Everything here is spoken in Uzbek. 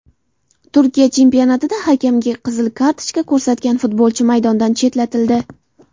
Turkiya chempionatida hakamga qizil kartochka ko‘rsatgan futbolchi maydondan chetlatildi.